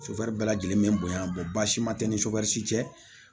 bɛɛ lajɛlen bɛ bonya basima tɛ ni cɛ